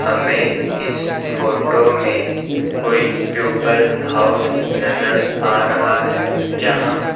हमें इस फोटो में कोई प्यूपल हाउस नजर आ रहा है जहां--